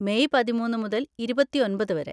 May പതിമൂന്ന്‌ മുതൽ ഇരുപത്തിയൊൻപത് വരെ.